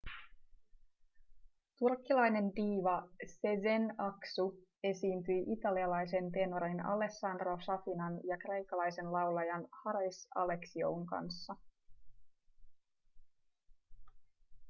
turkkilainen diiva sezen aksu esiintyi italialaisen tenorin alessandro safinan ja kreikkalaisen laulajan haris alexioun kanssa